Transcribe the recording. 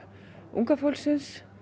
unga fólksins